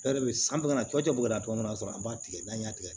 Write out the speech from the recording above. E de bɛ san bɛna cɔcɛ bɔla cogoya min na an b'a tigɛ n'an y'a tigɛ